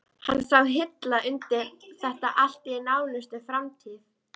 Hann sá hilla undir þetta allt í nánustu framtíð.